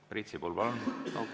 Priit Sibul, palun!